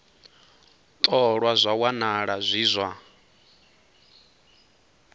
ṱolwa zwa wanala zwi zwa